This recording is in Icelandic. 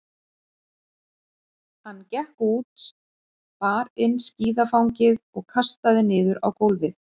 Hann gekk út, bar inn skíðafangið og kastaði niður á gólfið.